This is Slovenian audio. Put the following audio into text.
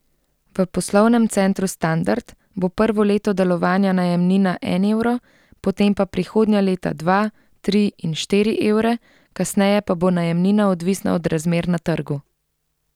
V Poslovnem centru Standard bo prvo leto delovanja najemnina en evro, potem pa prihodnja leta dva, tri in štiri evre, kasneje pa bo najemnina odvisna od razmer na trgu.